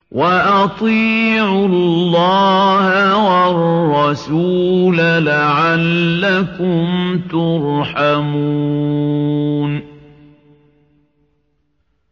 وَأَطِيعُوا اللَّهَ وَالرَّسُولَ لَعَلَّكُمْ تُرْحَمُونَ